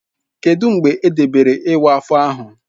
Kedụ mgbe edebere iwa afọ ahụ?